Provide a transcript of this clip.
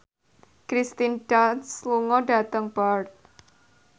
Kirsten Dunst lunga dhateng Perth